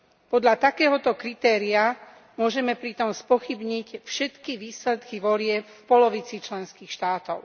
Podľa takéhoto kritéria môžeme pritom spochybniť všetky výsledky volieb v polovici členských štátov.